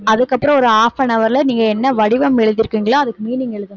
அதுக்கப்புறம் ஒரு half an hour ல நீங்க என்ன வடிவம் எழுதியிருக்கீங்களோ அதுக்கு meaning எழுதணும்